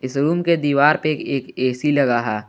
इस रूम के दीवार पे एक ए_सी लगा है।